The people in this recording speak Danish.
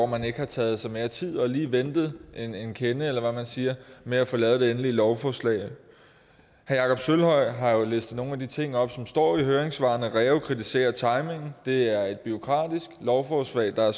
man ikke har taget sig mere tid og lige ventet en en kende eller hvad man siger med at få lavet det endelige lovforslag herre jakob sølvhøj har jo læst nogle af de ting op som står i høringssvarene reu kritiserer timingen det er et bureaukratisk lovforslag der er